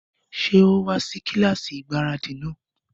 Ṣé ó wá sí kílásì ìgbáradì náà?